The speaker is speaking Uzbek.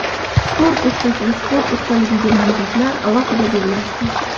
Sport ustasi va sport ustaligiga nomzodlar alohida bellashdi.